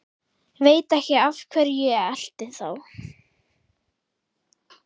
Veit ekki af hverju ég elti þá.